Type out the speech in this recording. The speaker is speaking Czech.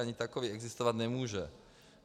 Ani takový existovat nemůže.